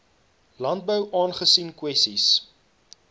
landbou aangesien kwessies